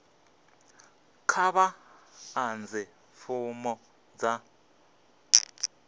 kha vha ḓadze fomo dza